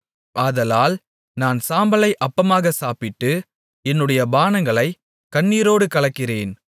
ஆதலால் நான் சாம்பலை அப்பமாகச் சாப்பிட்டு என்னுடைய பானங்களைக் கண்ணீரோடு கலக்கிறேன்